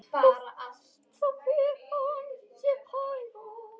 Þá fer hann sér hægar.